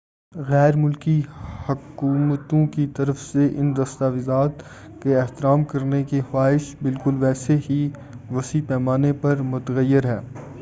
غیر ملکی حکومتوں کی طرف سے ان دستاویزات کے احترام کرنے کی خواہش بالکل ویسے ہی وسیع پیمانے پر متغیر ہے